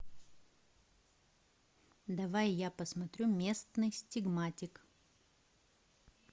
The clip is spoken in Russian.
давай я посмотрю местный стигматик